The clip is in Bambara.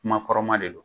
Kuma kɔrɔma de don